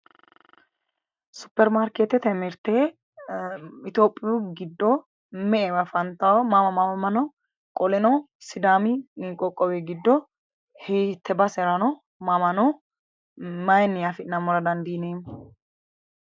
Superimaarkeetete mirte itophiyu giddo afantawo, mama no? qolrno sidaami qoqqowi giddo hiitte basera no? maayiinni afi'nammora dandiineemmo?